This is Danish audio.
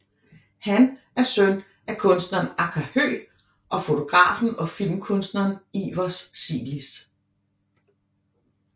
Han er søn af kunstneren Aka Høegh og fotografen og filmkunstneren Ivars Silis